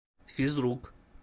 физрук